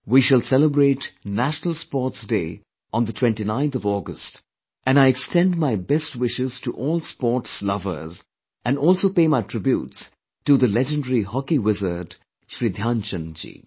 We shall celebrate National Sports Day on 29th August and I extend my best wishes to all sport lovers and also pay my tributes to the legendary hockey wizard Shri Dhyanchandji